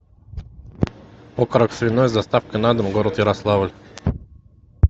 окорок свиной с доставкой на дом город ярославль